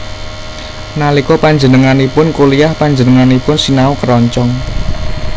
Nalika panjenenganipun kuliyah panjenenganipun sinau keroncong